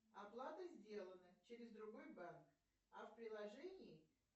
оплата сделана через другой банк а в приложении